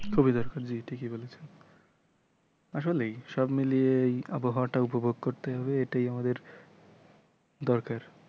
খুবই দরকার জি ঠিকই বলেছেন আসলেই সব মিলিয়েই আবহাওয়াটা উপভোগ করতে হবে এটাই আমাদের দরকার।